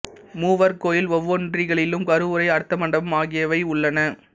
மூவர் கோயில் ஒவ்வொன்றிலும் கருவறை அர்த்த மண்டபம் ஆகியவை உள்ளன